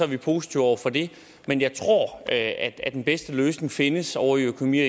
vi positive over for det men jeg tror at at den bedste løsning findes ovre i økonomi og